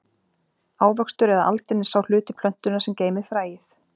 Ávöxtur eða aldin er sá hluti plöntunnar sem geymir fræið.